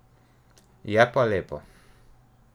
Je pa lepo.